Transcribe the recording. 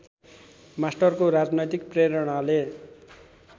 मास्टरको राजनैतिक प्रेरणाले